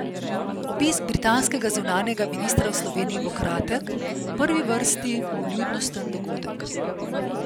Obisk britanskega zunanjega ministra v Sloveniji bo kratek, v prvi vrsti vljudnosten dogodek.